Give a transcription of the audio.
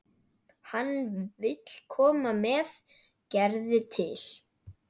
Hann vill koma með Gerði til